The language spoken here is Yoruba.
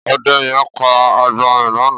Ọdẹ̀ yẹ̀n pà agbọrin lànã